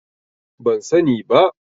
Ban sa ni ba